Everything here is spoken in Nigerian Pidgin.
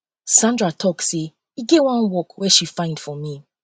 sandra talk say e get wan work she find for um me